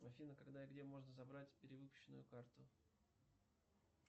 афина когда и где можно забрать перевыпущенную карту